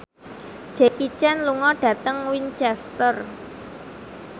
Jackie Chan lunga dhateng Winchester